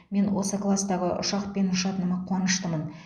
мен осы кластағы ұшақпен ұшатыныма қуаныштымын